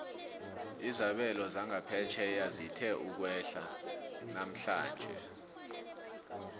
izabelo zangaphetjheya zithe ukwehla namhlanje